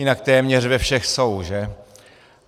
Jinak téměř ve všech jsou, že?